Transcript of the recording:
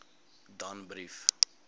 danbrief